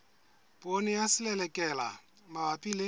poone ya selelekela mabapi le